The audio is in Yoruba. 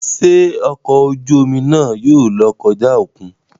Ṣe ọkọ ojú omi náà yóò lọ kọja okùn?